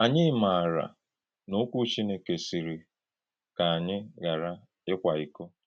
Ànyí màárà na Òkwú Chínèkè sịrị kà ànyí ghàrà íkwá íkò.